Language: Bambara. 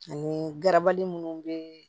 Ani garabali munnu be